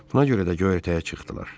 Buna görə də göyərtəyə çıxdılar.